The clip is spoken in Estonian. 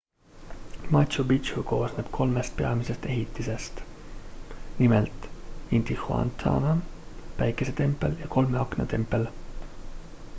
machu picchu koosneb kolmest peamisest ehitisest nimelt intihuatana päikesetempel ja kolme akna tempel